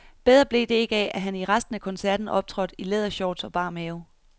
Bedre blev det ikke af, at han i resten af koncerten optrådte i lædershorts og bar mave.